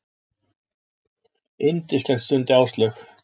Yndislegt stundi Áslaug.